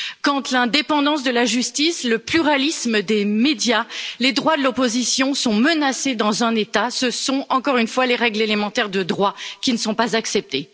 Quand l'indépendance de la justice, le pluralisme des médias, les droits de l'opposition sont menacés dans un État, ce sont encore une fois les règles élémentaires de droit qui ne sont pas acceptées.